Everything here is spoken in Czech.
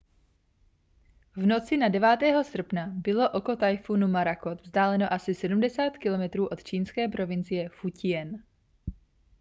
v noci na 9. srpna bylo oko tajfunu morakot vzdáleno asi 70 kilometrů od čínské provincie fu-ťien